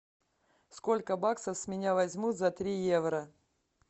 сколько баксов с меня возьмут за три евро